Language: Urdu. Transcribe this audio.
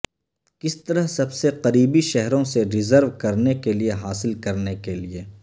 کس طرح سب سے قریبی شہروں سے ریزرو کرنے کے لئے حاصل کرنے کے لئے